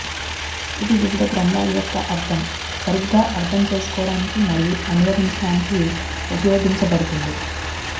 ఇది వివిధ గ్రంథాల యొక్క అర్థం సరిగ్గా అర్థం చేసుకోవడానికి మరియు అనువదించడానికి ఉపయోగించబడుతుంది